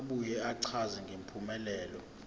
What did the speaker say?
abuye achaze ngempumelelo